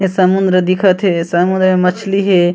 ये समुन्द्र दिखत हे ए समुद्र में मछिली हे।